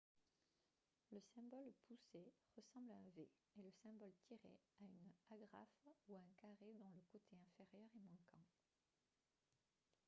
le symbole « pousser » ressemble à un v et le symbole « tirer » à une agrafe ou à un carré dont le côté inférieur est manquant